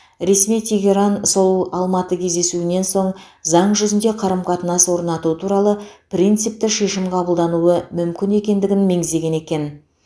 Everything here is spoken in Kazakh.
ресми тегеран сол алматы кездесуінен соң заң жүзінде қарым қатынас орнату туралы принципті шешім қабылдануы мүмкін екендігін меңзеген екен